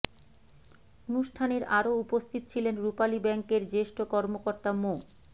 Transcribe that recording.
অনুষ্ঠানের আরো উপস্থিত ছিলেন রূপালী ব্যাংকের জ্যেষ্ঠ কর্মকর্তা মো